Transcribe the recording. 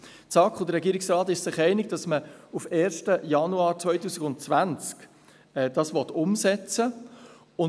Die SAK und der Regierungsrat sind sich einig, dass man es auf den 1. Januar 2020 umsetzen will.